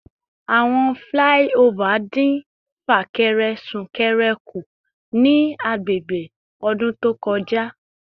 Awọn flyover din fakere sunkere ku ni agbegbe odun to koja